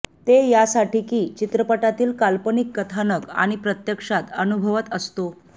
ते यासाठी की चित्रपटातील काल्पनिक कथानक आपण प्रत्यक्षात अनुभवत असतो